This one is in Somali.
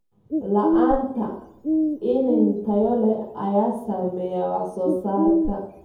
La'aanta iniin tayo leh ayaa saameeya wax soo saarka.